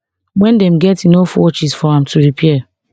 wen dem get enough watches for am to repair